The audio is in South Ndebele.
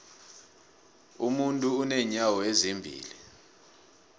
umuntu unenyawo ezimbili